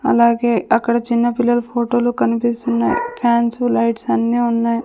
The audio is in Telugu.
అలాగే అక్కడ చిన్న పిల్లల ఫొటోలు కనిపిస్తున్నాయ్ ఫ్యాన్సు లైట్సు అన్నీ ఉన్నాయి.